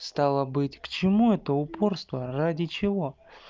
стало быть к чему это упорство ради чего